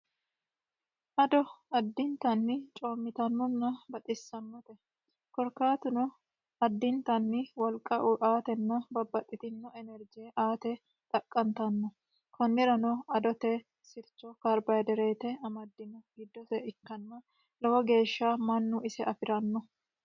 Ado addittanni coomittanonna baxisano korkaatuno addittani wolqa aatenna babbaxxitino inerije aate xaqa'mineemmo konirano adote karbohadirete sircho amadinotta ikkanna lowo geeshsha mannu ise affirano.